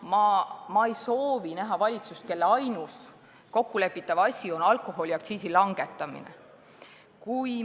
Me ei soovi valitsust, kelle ainus kokkulepitav asi on alkoholiaktsiisi langetamine.